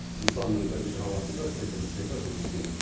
нысанның бірінші қабатында тігін цехы жұмыс істейді